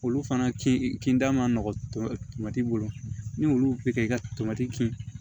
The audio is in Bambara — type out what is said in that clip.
Olu fana kin kinda ma nɔgɔ tomati bolo ni olu bɛ kɛ i ka tomati kin